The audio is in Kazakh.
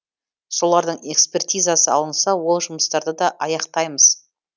солардың экспертизасы алынса ол жұмыстарды да аяқтаймыз